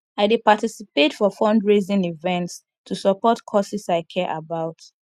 i dey participate for fundraising events to support causes i care about